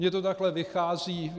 Mně to takhle vychází.